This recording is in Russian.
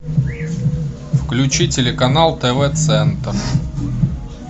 включи телеканал тв центр